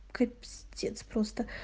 кабздец просто